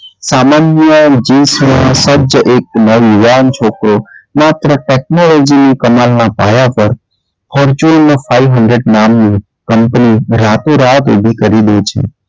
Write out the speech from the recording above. સામાન્ય સજ્જ એક નવ યુવાન છોકરો માત્ર technology કમાલના પાયા પર fortune five hundred નામની company રાતોરાત ઉભી કરી દે છે.